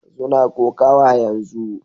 Suna kokawa yanzu